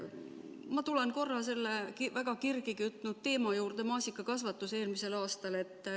Ma tulen korra väga kirgi kütnud teema juurde: maasikakasvatus eelmisel aastal.